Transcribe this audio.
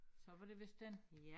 Så var det vist den